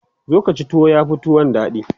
zo Kaci tuwo yafi tuwon daɗi